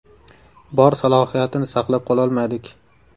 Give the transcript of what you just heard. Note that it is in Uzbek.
Bor salohiyatni saqlab qololmadik.